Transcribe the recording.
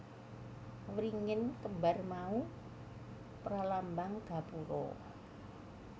Wringin kembar mau pralambang gapura